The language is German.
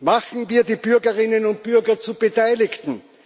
Machen wir die Bürgerinnen und Bürger zu Beteiligten!